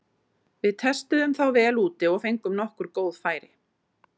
Við testuðum þá vel úti og fengum nokkur góð færi.